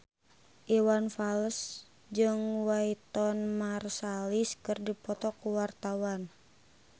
Iwan Fals jeung Wynton Marsalis keur dipoto ku wartawan